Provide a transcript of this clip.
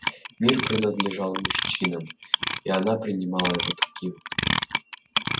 мир принадлежал мужчинам и она принимала его таким